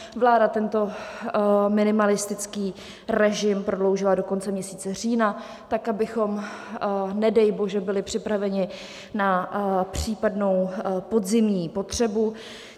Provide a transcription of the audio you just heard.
Vláda tento minimalistický režim prodloužila do konce měsíce října tak, abychom nedej bože byli připraveni na případnou podzimní potřebu.